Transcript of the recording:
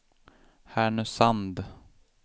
Härnösand